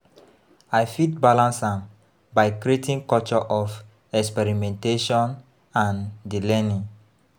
I fit balance am by creating culture of experimentation and di learning.